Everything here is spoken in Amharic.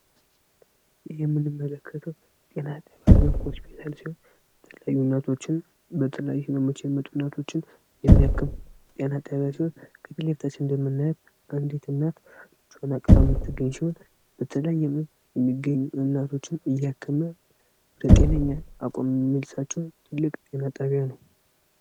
ይህ የምንመለከተው ጤና ጣቢያ ወይም ሆስፒታል ሲሆን በተለያዩ ህመሞች ምክንያት የሚመጡ እናቶችን የሚያክም ጤና ጥበብ ሲሆን ከምስሉ ላይ እንደምናየው አንዲት እናት ልጇን አቀፋ የምትገኝ ሲሆን በተለያየ ህመም እናቶችን እያከመ በጤነኛ አቋም የሚመልሳቸው ጤና ጣቢያ ነው።